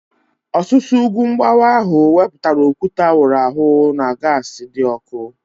Ọsusu ugwu mgbawa ahu wepụtara okwute a wụrụ awụ na gaasi dị ọkụ